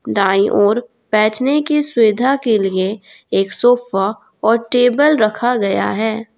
दाएं और बेचने की सुविधा के लिए एक सोफा और टेबल रखा गया है।